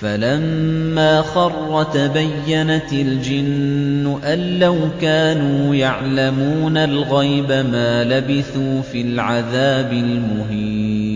فَلَمَّا خَرَّ تَبَيَّنَتِ الْجِنُّ أَن لَّوْ كَانُوا يَعْلَمُونَ الْغَيْبَ مَا لَبِثُوا فِي الْعَذَابِ الْمُهِينِ